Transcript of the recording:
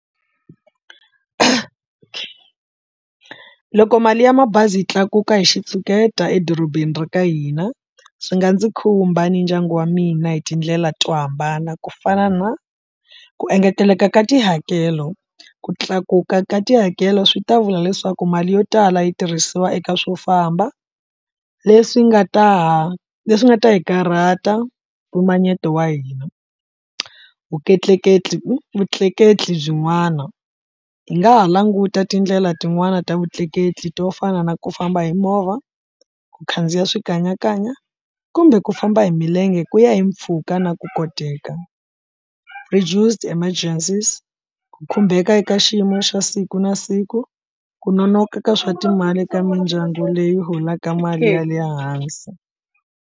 Loko mali ya mabazi yi tlakuka hi xitshuketa edorobeni ra ka hina swi nga ndzi khumba ni ndyangu wa mina hi tindlela to hambana, ku fana na ku engeteleka ka tihakelo, ku tlakuka ka tihakelo swi ta vula leswaku mali yo tala yi tirhisiwa eka swo famba leswi nga ta ha leswi nga ta hi karhata mpimanyeto wa hina. vutleketli byin'wana hi nga ha languta tindlela tin'wani ta vutleketli to fana na ku famba hi movha, ku khandziya swikanyakanya kumbe ku famba hi milenge ku ya hi mpfhuka na ku koteka. Reduced emergencies, ku khumbeka eka xiyimo xa siku na siku, ku nonoka ka swa timali ka mindyangu leyi holaka mali ya le hansi.